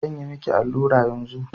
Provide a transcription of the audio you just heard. Zan yi miki allura yanzu?